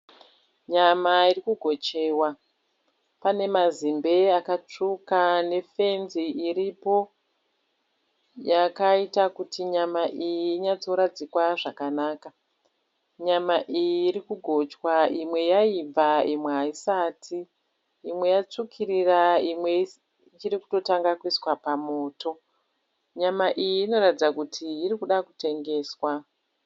Nyama iri kugochewa pane mazimbe akatsvuka nefenzi iripo yakaita kuti nyama iyi inyatsoradzikwa zvakanaka, nyama iyi iri kugochwa imwe yaibva imwe haisati, imwe yatsvukirira imwe ichiri kutotanga kuiswa pamoto nyama iyi inoratidza kuti iri kuda kutengeswa.